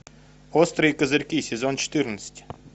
острые козырьки сезон четырнадцать